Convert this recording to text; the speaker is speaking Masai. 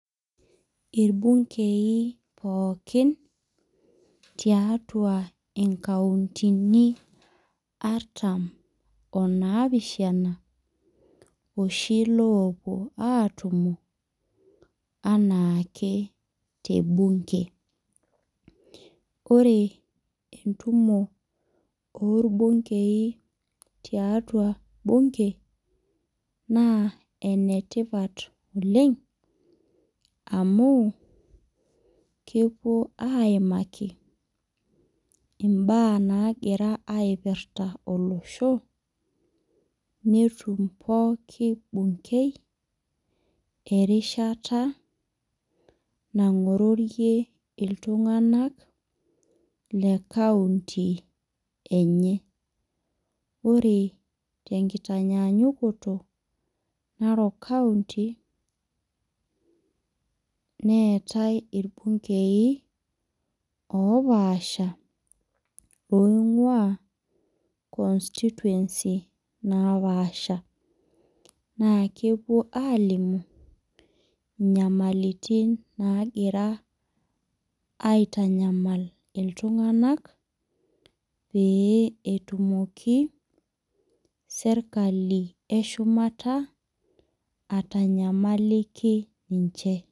Irbunkei pookin tiatua inkauntini artam onaapishana, oshi lopuo aatumo anaake tebunke. Ore entumoto orbunkei tiatua bunke, naa enetipat oleng, amuu, kepuo aimaki imbaa nagira aipirta olosho, netum pooki bunkei, erishata nang'ororie iltung'anak, le county enye. Ore tenkinyaanyukoto, Narok county, neetai Irbunkei opaasha, oing'ua constituency napaasha. Naa kepuo alimu, inyamalitin nagira aitanyamal iltung'anak, pee etumoki serkali eshumata, atanyamaliki ninche.